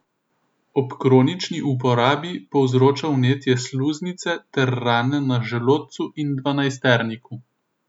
Ob kronični uporabi povzroča vnetje sluznice ter rane na želodcu in dvanajsterniku.